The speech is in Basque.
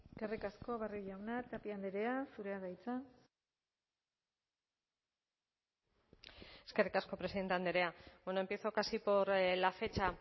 eskerrik asko barrio jauna tapia andrea zurea da hitza eskerrik asko presidente andrea bueno empiezo casi por la fecha